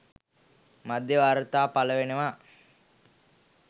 මාධ්‍ය වාර්තා පළ වෙනවා